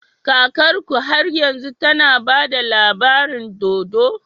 Kakarku har yanzu tAna bada labarin dodo?